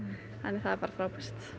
það er bara frábært